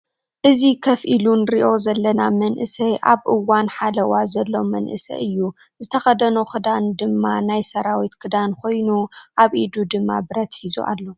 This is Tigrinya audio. እዚ ከፍ ኢሉ ንሪኦ ዘለና መንእሰይ ኣብ ሓለዋ ዘሎ መንእሰይ እዩ ። ዝተኸደኖ ክዳኑ ድማ ናይ ሰራዊት ክዳን ኮይኑ ኣብ ኢዱ ድማ ብረት ሒዙ ኣሎ ።